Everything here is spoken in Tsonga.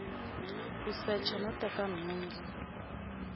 ku secha no teka nhundzu